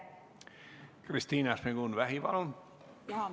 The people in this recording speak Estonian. Kristina Šmigun-Vähi, palun!